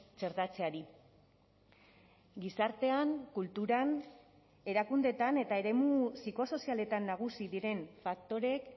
txertatzeari gizartean kulturan erakundeetan eta eremu psikosozialetan nagusi diren faktoreek